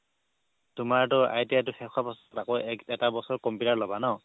তোমাৰতো ITI টো শেষ হোৱাৰ পিছত আকৌ এক এটা বছৰ computer ল'বা ন